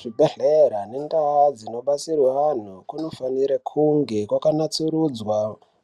Zvibhedhlera nendau dzinobatsirwa anhu kunofanira kunge yakanasurudzwa